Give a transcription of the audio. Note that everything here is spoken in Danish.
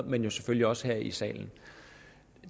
men selvfølgelig også her i salen